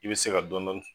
I bɛ se ka dɔɔni